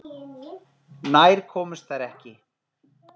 Nær komust þær ekki.